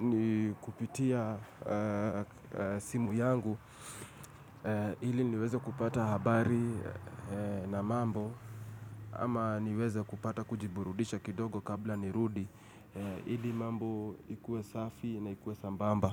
ni kupitia simu yangu Ili niweze kupata habari na mambo ama niweze kupata kujiburudisha kidogo kabla ni rudi Ili mambo ikue safi na ikue sambamba.